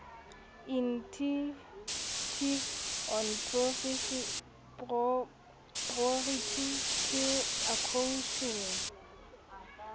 initiative on priority skills acquisition